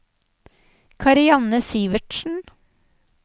Karianne Sivertsen